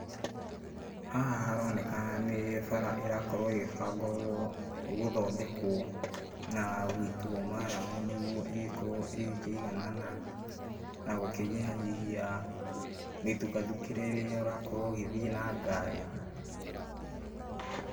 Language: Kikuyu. Haha haroneka nĩ bara irakorwo ĩgĩbangwo gũthondekwo na gũitwo maramu, nĩguo ĩgĩkorwo ĩgĩkĩiganana na gũkĩnyihanyihia mĩthukathukĩre rĩrĩa ũrakorwo ũgĩthiĩ na ngari.